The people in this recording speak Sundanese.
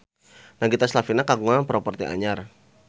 Nagita Slavina kagungan properti anyar